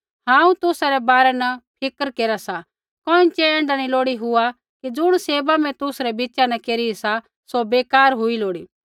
हांऊँ तुसा रै बारै न फिक्र केरा सा कोइँछ़ै ऐण्ढा नैंई लोड़ी हुआ कि ज़ुण सेवा मैं तुसरै बिच़ा न केरी सा सौ बेकार हुई लोड़ी